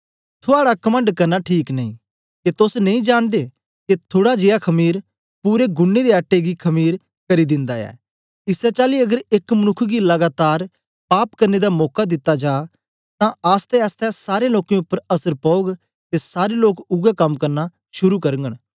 थुआड़ा कमंड करना ठीक नेई के तोस नेई जांनदे के थुड़ा जियां खमीर आंबला पूरे गुन्नें दे आटे गी खमीर आंबला करी दिन्दा ऐ इसै चाली अगर एक मनुक्ख गी लगातार पाप करने दा मौका दित्ता जा तां आसतैआसतै सारे लोकें उपर असर पौग ते सारे लोक उवै कम करना शुरू करगन